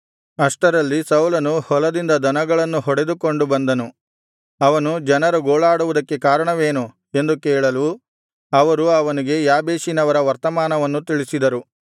ಅಷ್ಟರಲ್ಲಿ ಸೌಲನು ಹೊಲದಿಂದ ದನಗಳನ್ನು ಹೊಡೆದುಕೊಂಡು ಬಂದನು ಅವನು ಜನರು ಗೋಳಾಡುವುದಕ್ಕೆ ಕಾರಣವೇನು ಎಂದು ಕೇಳಲು ಅವರು ಅವನಿಗೆ ಯಾಬೇಷಿನವರ ವರ್ತಮಾನವನ್ನು ತಿಳಿಸಿದರು